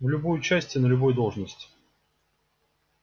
в любую часть и на любую должность